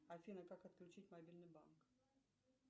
афина как отключить мобильный банк